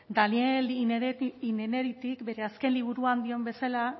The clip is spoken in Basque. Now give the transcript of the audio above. daniel innerarityk bere azken liburua dion bezala